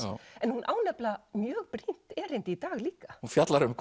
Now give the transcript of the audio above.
en hún á nefnilega mjög brýnt erindi í dag líka hún fjallar um